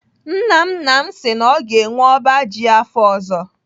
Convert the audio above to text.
Nna nna m si na ọ ga-enwe ọba ji afọ ọzọ.